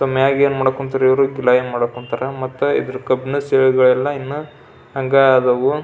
So ಮ್ಯಾಗೆ ಏನು ಮಾಡಬೇಕು ಅಂತಾರೆ ಇವರು ಪ್ಲಾನ್ ಮಾಡಬೇಕು ಅಂತಾರೆ ಮತ್ತೆ ಇದರ ಕಬ್ಬಿಣ ಸೇರು ಎಲ್ಲ ಹಂಗಾ ಅದಾವು.